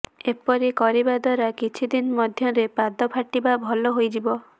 ଏପରି କରିବା ଦ୍ବାରା କିଛି ଦିନ ମଧ୍ୟରେ ପାଦ ଫାଟିବା ଭଲ ହୋଇଯିବ